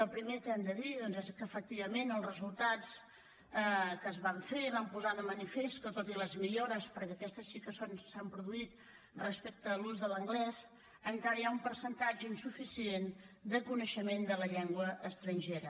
el primer que hem de dir és que efectivament els resultats que es van fer van posar de manifest que tot i les millores perquè aquestes sí que s’han produït respecte a l’ús de l’anglès encara hi ha un percentatge insuficient de coneixement de la llengua estrangera